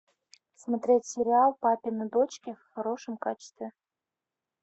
смотреть сериал папины дочки в хорошем качестве